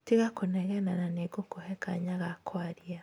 tiga kũnegena na nĩngũkũhe kanya ga kwaria!